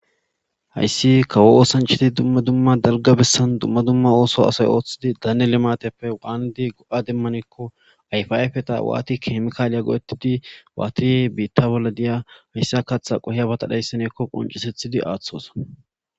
hayssi kawo oosanchiti dumma dumma dalga bessan dumma dumma ooso asay ooththidi daane lemateppe waandi go7a demmanikko ayfayafeta waati kemikaaliya goo7ettidi waati biitta bolla diya hayssa katha qohya batadhayssineekko qoncisethidi aaththos